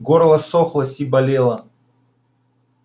горло ссохлось и болело